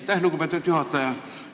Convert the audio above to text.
Aitäh, lugupeetud juhataja!